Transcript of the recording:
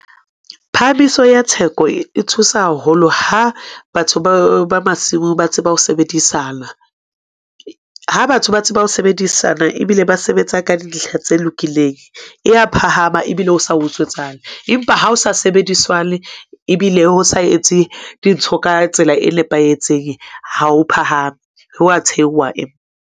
Phahamiso ya theko e thusa haholo ha batho ba masimo ba tseba ho sebedisana, ha batho ba tseba ho sebedisana ebile ba sebetsa ka dintlha tse lokileng, e ya phahama ebile o sa utswetsane. Empa ha o sa sebediswane, ebile ho sa etse dintho ka tsela e nepahetseng, ha o phahame, ho a thehuwa .